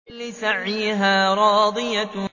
لِّسَعْيِهَا رَاضِيَةٌ